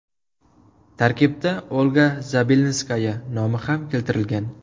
Tarkibda Olga Zabelinskaya nomi ham keltirilgan .